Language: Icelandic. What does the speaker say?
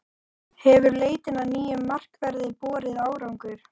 Hefur leitin að nýjum markverði borið árangur?